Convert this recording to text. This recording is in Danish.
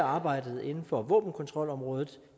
arbejdet inden for våbenkontrolområdet